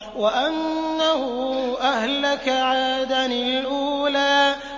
وَأَنَّهُ أَهْلَكَ عَادًا الْأُولَىٰ